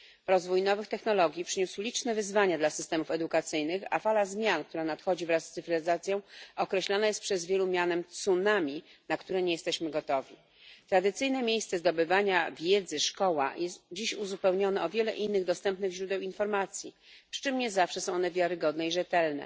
Rozwój nowych technologii przyniósł liczne wyzwania dla systemów edukacyjnych, a fala zmian nadchodzących wraz z cyfryzacją określana jest przez wielu mianem tsunami, na które nie jesteśmy gotowi. Tradycyjne miejsce zdobywania wiedzy, czyli szkoła, jest dziś uzupełnione o wiele innych dostępnych źródeł informacji, przy czym nie zawsze są one wiarygodne i rzetelne.